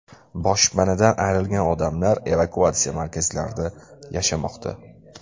Boshpanadan ayrilgan odamlar evakuatsiya markazlarida yashamoqda.